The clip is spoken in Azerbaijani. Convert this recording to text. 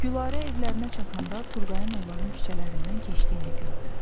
Gülarə evlərinə çatanda Turqayın onların küçələrindən keçdiyini gördü.